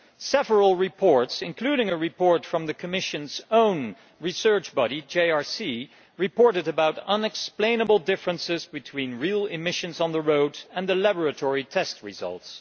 Several reports, including a report from the Commission's own research body, the JRC, reported unexplainable differences between real emissions on the road and the laboratory test results.